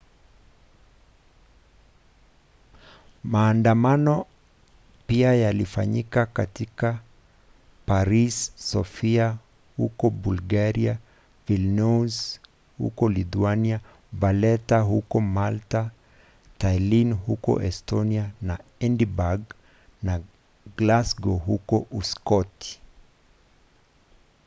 maandamano pia yalifanyika katika paris sofia huko bulgaria vilnius huko lithuania valetta huko malta tallinn huko estonia na edinburgh na glasgow huko uskoti